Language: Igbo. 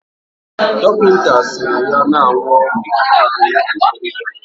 Dokita siri ya na-aṅụ ọgwụ ndi edere ya